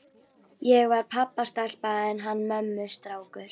Ég var pabbastelpa en hann mömmustrákur.